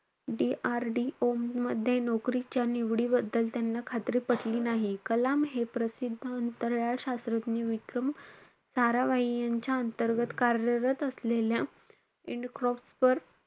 DRDO मध्ये नौकरीच्या निवडीबद्दल त्यांना खात्री पटली नाही. कलाम हे प्रसिद्ध अंतराळ शास्त्रज्ञ विक्रम साराभाई यांच्या अंतर्गत कार्यरत असलेल्या endcroft वर,